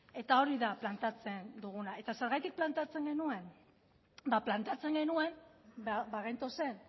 eta hori da planteatzen duguna eta zergatik planteatzen genuen ba planteatzen genuen bagentozen